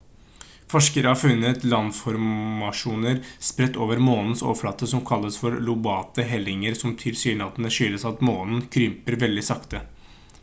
forskere har funnet landformasjoner spredt over månens overflate som kalles for lobate helninger som tilsynelatende skyldes at månen krymper veldig sakte